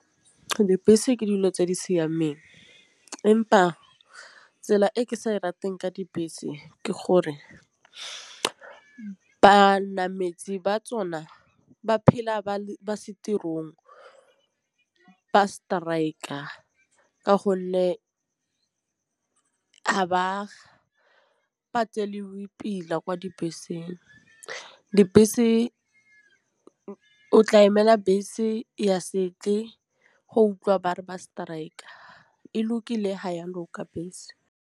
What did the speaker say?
Dibese ke dilo tse di siameng empa tsela e ke sa di rateng ka dibese ke gore ba na metsi ba tsona ba phela ba base tirong ba strike-a ka gonne ga ba pila kwa dibeseng. Dibese o tla emela bese ya se tle go utlwa bare ba strike-a e lokile ha ya loka bese.